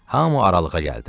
Hamı aralığa gəldi.